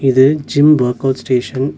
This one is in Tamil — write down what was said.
இது ஜிம் வொர்க் அவுட் ஸ்டேஷன் .